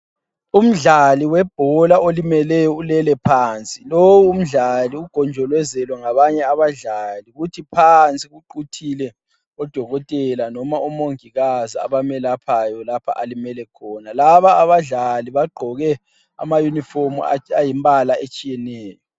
Umdlali webhola olimeleyo ulele phansi, lo umdlali ugonjolezelwe ngabanye abadlali, kuth phansi kuquthile odokotela noma omongikazi abamelaphayo lapha alimele khona. Laba abadlali bagqoke amayunifomu ayimbala etshiyeneyo.